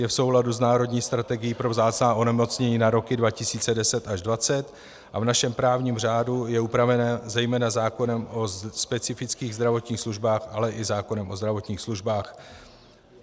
Je v souladu s národní strategií pro vzácná onemocnění na roky 2010 až 2020 a v našem právním řádu je upraven zejména zákonem o specifických zdravotních službách, ale i zákonem o zdravotních službách.